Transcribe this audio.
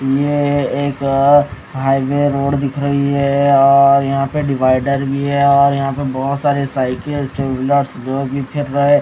ये एक highway road दिख रही हैं और यहां पे डिवाइडर भी हैं और यहां पे बहोत सारे साइकिल टू व्हीलर जोकि रहे--